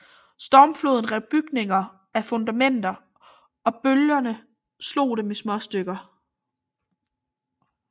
Stormfloden rev bygninger af fundamenterne og bølgende slog dem i småstykker